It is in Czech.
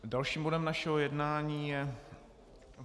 Dalším bodem našeho jednání je